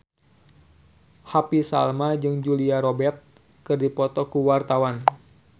Happy Salma jeung Julia Robert keur dipoto ku wartawan